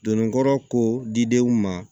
Donnin kɔrɔ ko didenw ma